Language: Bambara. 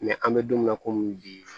an bɛ don min na komi bi